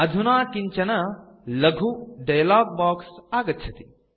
अधुना किञ्चन लघु डायलॉग बॉक्स आगच्छति